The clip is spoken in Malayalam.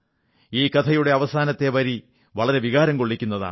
ഈ കഥയുടെ അവസാനത്തെ വരി വളരെ വികാരം കൊള്ളിക്കുന്നതാണ്